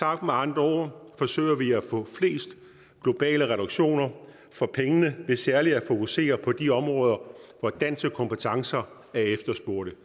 andre ord forsøger vi at få flest globale reduktioner for pengene ved særlig at fokusere på de områder hvor danske kompetencer er efterspurgte